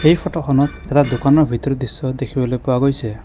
এই ফটোখনত এটা দোকানৰ ভিতৰৰ দৃশ্য দেখিবলৈ পোৱা গৈছে।